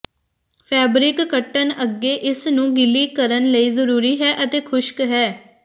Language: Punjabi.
ਫੈਬਰਿਕ ਕੱਟਣ ਅੱਗੇ ਇਸ ਨੂੰ ਗਿੱਲੀ ਕਰਨ ਲਈ ਜ਼ਰੂਰੀ ਹੈ ਅਤੇ ਖੁਸ਼ਕ ਹੈ